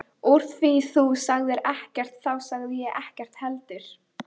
Úr því þú sagðir ekkert þá sagði ég ekkert heldur.